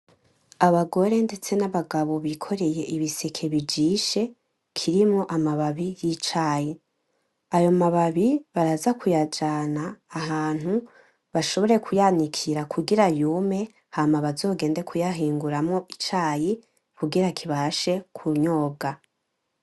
Abagore ndetse nabagabo bikoreye ibiseke bijishe, kirimwo amababi yicayi. Ayo mababi baraza kuyajana ahantu bashobore kuyanikira kugira yume hama bazogende kuyahinguramwo icayi, kugira kibashe kunyobwa.